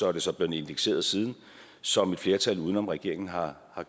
er så blevet indekseret siden som et flertal uden om regeringen har